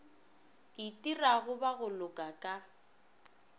itirago ba go loka ka